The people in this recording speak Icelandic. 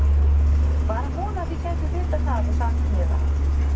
Var að vona þið gætuð vitað það og sagt mér það.